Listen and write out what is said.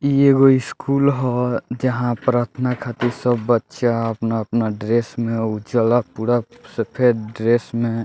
इ एगो स्कूल हअ जहाँ प्रार्थना खातिर सब बच्चा अपना-अपना ड्रेस में उजला पूरा सफ़ेद ड्रेस में --